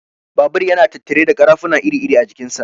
Babur yana tattare da ƙarafuna iri-iri a jikin sa.